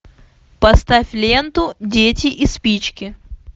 поставь ленту дети и спички